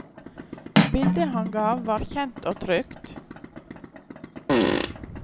Bildet han ga var kjent og trygt.